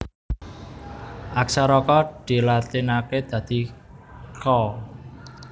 Aksara Ka dilatinaké dadi Ka